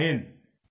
जय हिन्द जय हिन्द